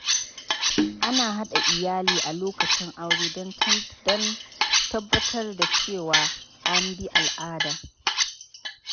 Ana haɗa iyali a lokacin aure don tabbatar da cewa an bi al'ada.